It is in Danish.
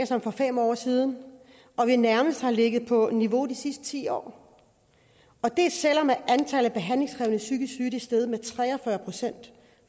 som for fem år siden og at vi nærmest har ligget på det niveau i de sidste ti år og det er selv om antallet af behandlingskrævende psykisk syge er steget med tre og fyrre procent